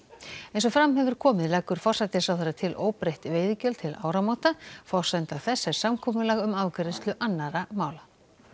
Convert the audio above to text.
eins og fram hefur komið leggur forsætisráðherra til óbreytt veiðigjöld til áramóta forsenda þess er samkomulag um afgreiðslu annarra mála